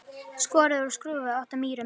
Skorið úr skrúfu út af Mýrum